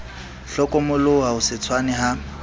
hlokomoloha ho se tshwane ha